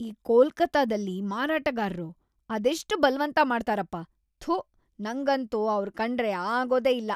ಈ ಕೊಲ್ಕತ್ತಾದಲ್ಲಿ ಮಾರಾಟಗಾರ್ರು ಅದೆಷ್ಟ್ ಬಲ್ವಂತ ಮಾಡ್ತಾರಪ್ಪ, ಥು, ನಂಗಂತೂ ಅವ್ರ್‌ ಕಂಡ್ರೆ ಆಗೋದೇ ಇಲ್ಲ.